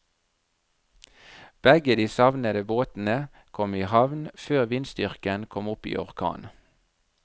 Begge de savnede båtene kom i havn før vindstyrken kom opp i orkan.